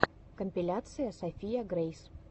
компиляция софия грейс